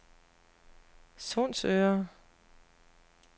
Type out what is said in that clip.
Sundsøre